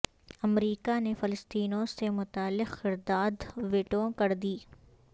امریکا نے فلسطینیوں سے متعلق قرارداد ویٹو کر دی